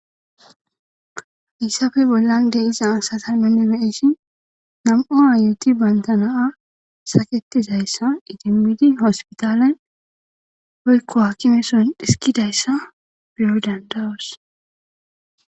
issafe bollande iza asatalmenne meeshin nam7u ayuti bayntana7a saketizayssa itimmidi hospitalen hoykko hakimeson dhisikidayssa biro dandawos